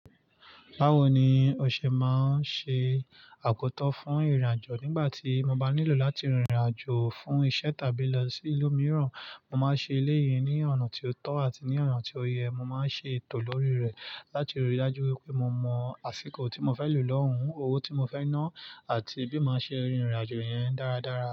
Báwo ni o ṣe máa ń ṣe akoto fún ìrìn-àjò nígbàtí mo bá nílò láti rin ìrìn-àjò fún iṣẹ́ tàbí lo si ìlú mìíràn, mo ma ṣe eleyi ni ọ̀nà ti o tọ àti ni ọ̀nà ti o yẹ, mo ma ṣe ètò lórí rẹ láti ríi dájú pé mo mọ àsìkò ti mo fẹ lo lọ hun, owo ti mo fẹ na àti bí máa ṣe rin ìrìn-àjò yẹn dáradára.